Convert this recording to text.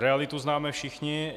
Realitu známe všichni.